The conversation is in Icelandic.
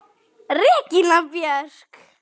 Regína Björk!